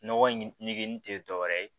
Nɔgɔ in nege tɛ dɔwɛrɛ ye